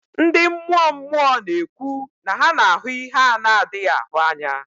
Ndị mmụọ mmụọ na-ekwu na ha na-ahụ ihe a na-adịghị ahụ anya